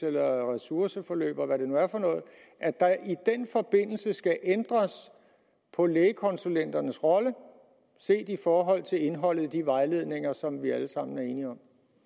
eller ressourceforløb og hvad det nu er for noget skal ændres på lægekonsulenternes rolle i forhold til indholdet af de vejledninger som vi alle er sammen enige